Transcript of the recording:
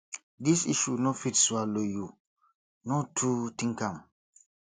this issue no fit swallow you no too think am